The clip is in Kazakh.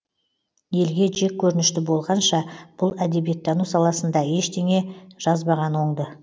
елге жеккөрінішті болғанша бұл әдебиеттану саласында ештеңе жазбаған оңды